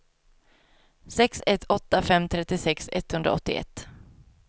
sex ett åtta fem trettiosex etthundraåttioett